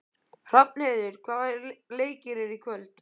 Hrafnheiður, hvaða leikir eru í kvöld?